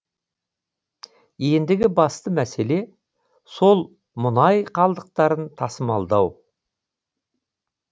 ендігі басты мәселе сол мұнай қалдықтарын тасымалдау